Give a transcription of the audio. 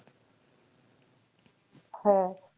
হ্যাঁ।